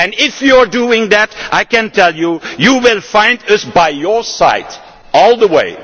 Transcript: And if you are doing that I can tell you that you will find us by your side all the way.